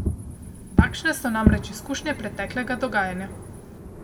Takšne so namreč izkušnje preteklega dogajanja.